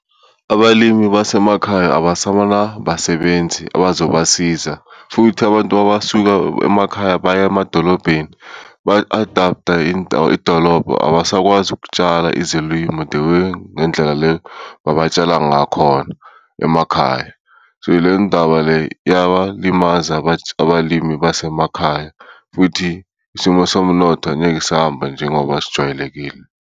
Abalimi basemakhaya abasanabasebenzi abazobasiza futhi abantu mabasuka emakhaya baya emadolobheni ba-adapt-a idolobha, abasakwazi ukutshala izilimo the way ngendlela le abatshala ngakhona emakhaya. So, le ndaba le iyabalimaza abalimi basemakhaya futhi isimo somnotho angeke sahamba njengoba sijwayelekile.